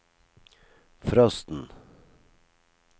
frosten